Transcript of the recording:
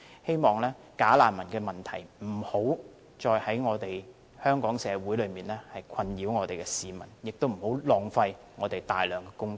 希望假難民問題不會繼續在香港社會中對市民造成困擾，也不會繼續浪費大量公帑。